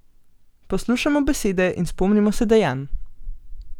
Poslušajmo besede in spomnimo se dejanj.